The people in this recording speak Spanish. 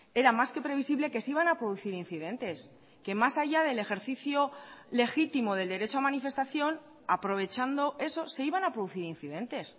era más que previsible que se iban a producir incidentes que más allá del ejercicio legítimo del derecho a manifestación aprovechando eso se iban a producir incidentes